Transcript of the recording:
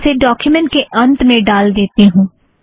इसे डोक्युमेंट के अंत में ड़ाल देती हूँ